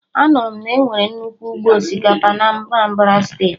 Anụrụ m na enwere nnukwu ụgbọ osikapa na Anambra Steeti